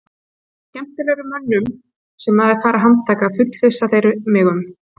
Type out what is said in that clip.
Með skemmtilegri mönnum sem maður fær að handtaka, fullvissa þeir mig um.